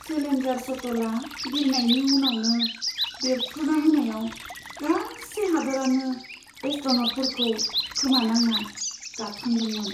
Challenger शट्लआ बिरनायनि उनावनो बेरफ्रुना होनायाव गासै हादोरानो एस्ट्र'न'टफोरखौ खोमानांना गाबखांदोंमोन।